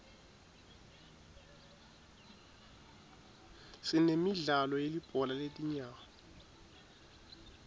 sinemidlalo yelibhola letinyawo